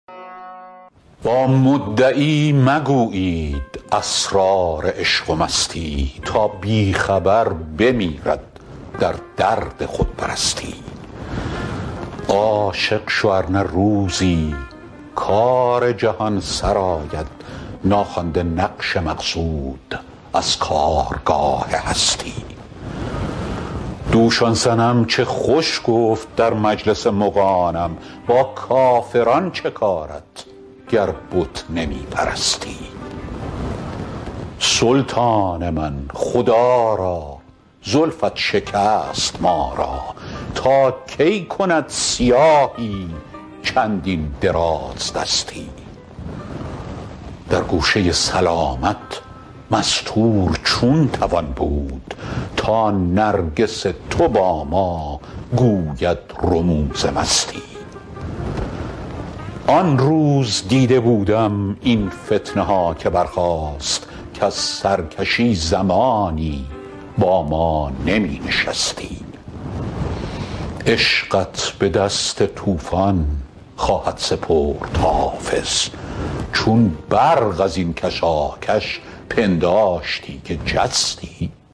با مدعی مگویید اسرار عشق و مستی تا بی خبر بمیرد در درد خودپرستی عاشق شو ار نه روزی کار جهان سرآید ناخوانده نقش مقصود از کارگاه هستی دوش آن صنم چه خوش گفت در مجلس مغانم با کافران چه کارت گر بت نمی پرستی سلطان من خدا را زلفت شکست ما را تا کی کند سیاهی چندین درازدستی در گوشه سلامت مستور چون توان بود تا نرگس تو با ما گوید رموز مستی آن روز دیده بودم این فتنه ها که برخاست کز سرکشی زمانی با ما نمی نشستی عشقت به دست طوفان خواهد سپرد حافظ چون برق از این کشاکش پنداشتی که جستی